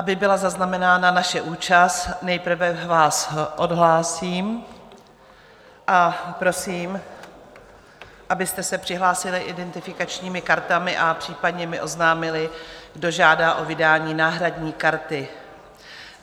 Aby byla zaznamenána naše účast, nejprve vás odhlásím a prosím, abyste se přihlásili identifikačními kartami a případně mi oznámili, kdo žádá o vydání náhradní karty.